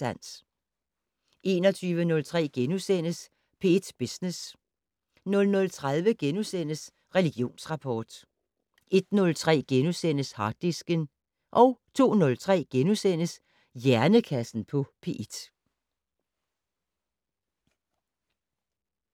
21:03: P1 Business * 00:30: Religionsrapport * 01:03: Harddisken * 02:03: Hjernekassen på P1 *